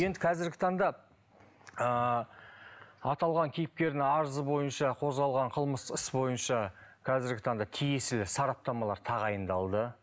енді қазіргі таңда ыыы аталған кейіпкердің арызы бойынша қозғалған қылмыстық іс бойынша қазіргі таңда тиесілі сараптамалар тағайындалды